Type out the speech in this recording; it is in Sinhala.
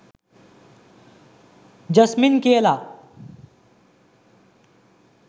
ජස්මින් කියලා